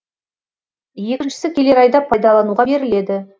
екіншісі келер айда пайдалануға беріледі